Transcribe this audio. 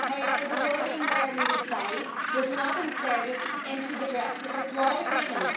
However, the wording where we reside' was not inserted into the Brexit withdrawal agreement.